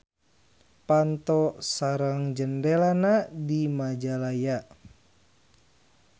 Panto sareng jandelana di Majalaya.